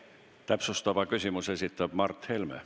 Täpsustava küsimuse esitab Mart Helme.